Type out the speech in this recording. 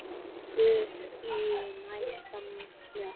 Stutt í næsta smók.